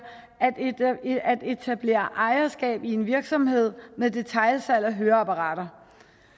at etablere ejerskab i en virksomhed med detailsalg af høreapparater